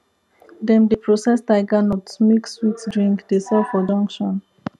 dem dey process tiger nut make sweet drink dey sell for junction